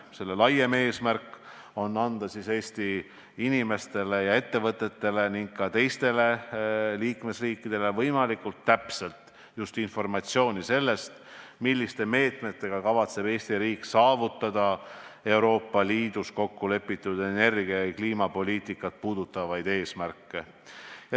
Selle laiem eesmärk on anda Eesti inimestele ja ettevõtetele ning teistele liikmesriikidele võimalikult täpset informatsiooni selle kohta, milliste meetmetega kavatseb Eesti riik saavutada Euroopa Liidus kokkulepitud energia- ja kliimapoliitika eesmärke.